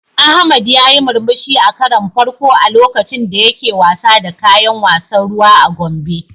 Ahmad yayi murmushi a karon farko a lokacin da yake wasa da kayan wasan ruwa a Gombe.